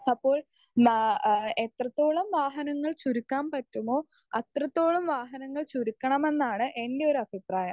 Speaker 1 അപ്പോൾ ന ഏഹ് എത്രത്തോളം വാഹനങ്ങൾ ചുരുക്കാൻ പറ്റുമോ അത്രത്തോളം വാഹനങ്ങൾ ചുരുക്കണം എന്നാണ് എൻ്റെ ഒരു അഭിപ്രായം.